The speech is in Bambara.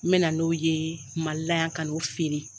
N mɛ na n'o ye malila yan ka n'u feere.